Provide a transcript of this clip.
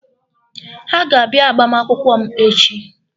Ha ga-abịa agbamakwụkwọ m echi.